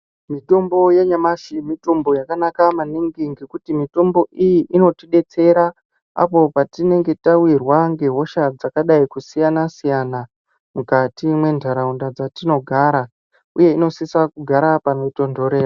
Mitombo yanyamashi mitombo yakanaka maningi ngekuti mitombo iyi inotidetsera apo patinenge tawirwa ngehosha dzakadai kusiyana siyana mukati mwentaraunda dzatinogara uye inosisa kugara panotonhora.